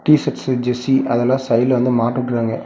T-shirts jersey அதல்லா சைட்ல வந்து மாட்டுட்ருக்காங்க.